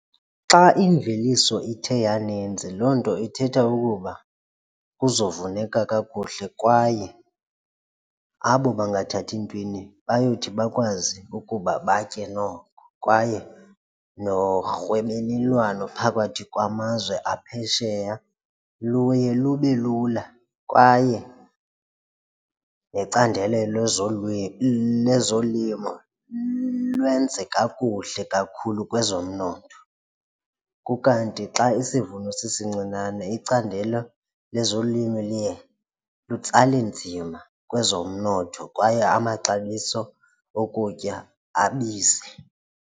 Xa imveliso ithe yaninzi loo nto ithetha ukuba kuzovuneka kakuhle kwaye abo bangathathi ntweni bayothi bakwazi ukuba batye noko kwaye norhwebelelwano phakathi kwamazwe aphesheya luye lube lula kwaye necandelo nezolimo lwenze kakuhle kakhulu kwezomnotho, ukanti xa isivuno sisincinane icandelo lezolimi luye lutsale nzima kwezomnotho kwaye amaxabiso okutya abize.